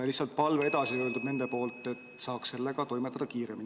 Nende palve on lihtsalt see, et toimetataks kiiremini.